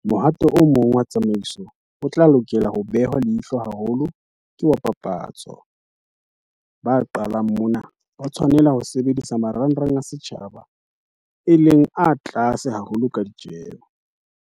Mohato o mong wa tsamaiso o tla lokela ho behwa leihlo haholo ke wa papatso. Ba qalang mona, ba tshwanela ho sebedisa marangrang a setjhaba, e leng tlase haholo ka ditjeho.